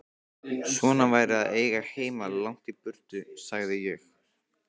Svona væri að eiga heima langt í burtu, sagði ég.